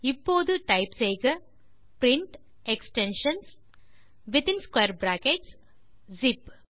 இப்போது டைப் செய்க print extensions within square brackets zip